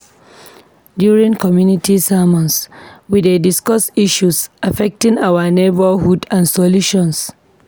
During community sermons, we dey discuss issues affecting our neighborhood and solutions.